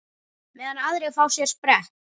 Meðan aðrir fá sér sprett?